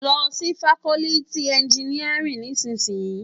Lò si fákòlìtí ènjìníárìn nìsísìyín